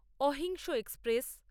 অহিংস এক্সপ্রেস